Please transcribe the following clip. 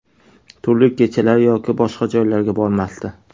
Turli kechalar yoki boshqa joylarga bormasdi.